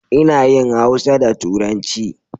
Ina yin Hausa da turanci